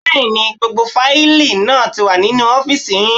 Bẹ́ẹ̀ni, gbogbo fáìlì náà ti wà nínú ọ́fìsì yín